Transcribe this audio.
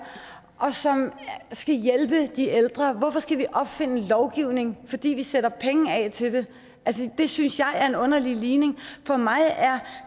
og som skal hjælpe de ældre hvorfor skal vi opfinde lovgivning fordi vi sætter penge af til det altså det synes jeg er en underlig ligning for mig er